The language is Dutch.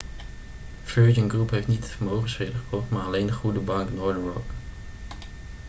virgin group heeft niet de vermogensbeheerder gekocht maar alleen de goede bank' northern rock